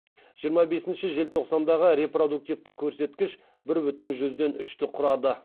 жиырма бесінші желтоқсандағы репродуктивті көрсеткіш бір бүтін жүзден үшті құрады